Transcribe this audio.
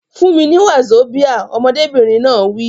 Fún mi ní wazobia! Ọmọdébìnrin náà wí.